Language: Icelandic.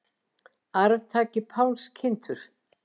Arftaki Páls kynntur